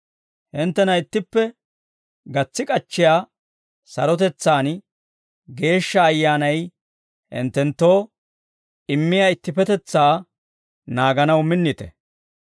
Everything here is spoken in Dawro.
Hinttena ittippe gatsi k'achchiyaa sarotetsaan, Geeshsha Ayyaanay hinttenttoo immiyaa ittippetetsaa naaganaw minnite.